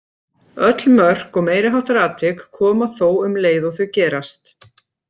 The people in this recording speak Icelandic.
Öll mörk og meiri háttar atvik koma þó um leið og þau gerast.